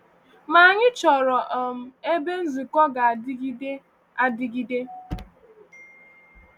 Ma anyị chọrọ um ebe nzukọ ga-adịgide adịgide.